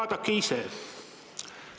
Vaadake ise!